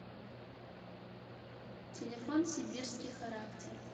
телефон сибирский характер